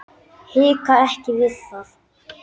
Hika ekki við það.